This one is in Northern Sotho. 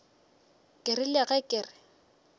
ke rile ge ke re